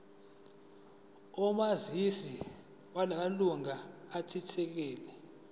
omazisi wamalunga athintekayo